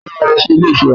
Ta ló ma lọ sí ilé ìtura?